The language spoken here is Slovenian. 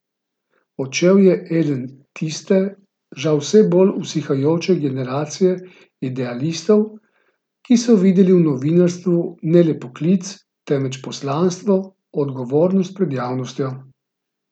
Odšel je eden tiste, žal vse bolj usihajoče generacije idealistov, ki so videli v novinarstvu ne le poklic, temveč poslanstvo, odgovornost pred javnostjo.